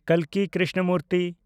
ᱠᱟᱞᱠᱤ Krishnamurti